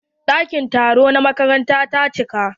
Ɗakin taro na makaranta ta cika.